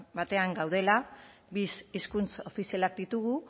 batean gaudela bi hizkuntz ofizialak ditugu